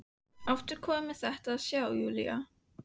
Aftur komin með þetta að sjá, Júlía.